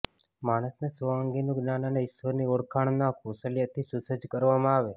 માણસને સ્વ અંગેનું જ્ઞાાન અને ઇશ્વરની ઓળખના કૌશલ્યથી સુસજ્જ કરવામાં આવે